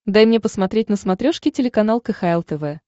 дай мне посмотреть на смотрешке телеканал кхл тв